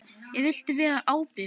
Ég vildi vera ábyrg.